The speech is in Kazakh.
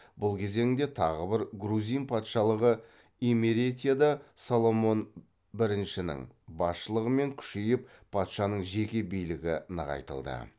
бұл кезеңде тағы бір грузин патшалығы имеретияда соломон біріншінің басшылығымен күшейіп патшаның жеке билігі нығайтылды